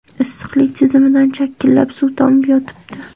Issiqlik tizimidan chakillab suv tomib yotibdi.